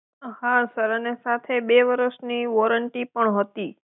હા સર અને સાથે બે વરસની વોરંટી પણ હતી.